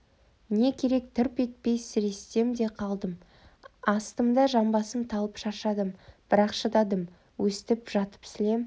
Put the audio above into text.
не керек тырп етпей сірестім де қалдым астыңғы жамбасым талып шаршадым бірақ шыдадым өстіп жатып сілем